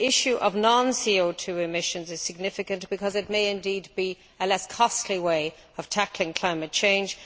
The issue of non CO 2 emissions is significant because it may indeed be a less costly way of tackling climate change.